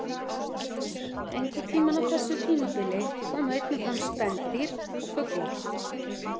Einhvern tímann á þessu tímabili komu einnig fram spendýr og fuglar.